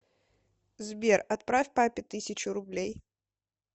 сбер отправь папе тысячу рублей